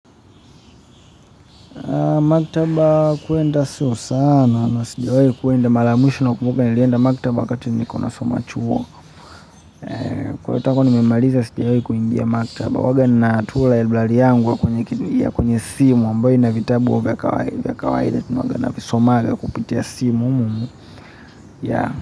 Maktaba kuenda sio sana na sijawai kuenda mara ya mwisho nakumbuka nilienda maktaba wakati nilikuwa nasoma chuo kwa hiyo nimemaliza sijawai kuingia maktaba huanga natumia library yangu ya kwenye kwenye simu ambayo ina vitabu vya kawaida huwanga navisomanga kupitia simu.